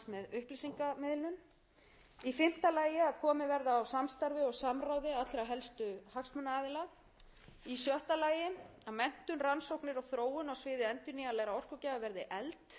í fimmta lagi að komið verði á samstarfi og samráði allra helstu hagsmunaaðila í sjötta lagi að menntun rannsóknir og þróun á siði endurnýjanlega orkugjafa verði efld í